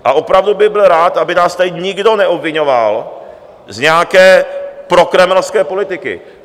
A opravdu bych byl rád, aby nás tady nikdo neobviňoval z nějaké prokremelské politiky.